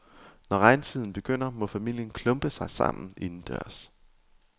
Når regntiden begynder må familien klumpe sig sammen indendørs.